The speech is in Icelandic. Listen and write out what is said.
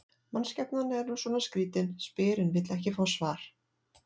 Mannskepnan er nú svona skrýtin, spyr en vill ekki fá svar.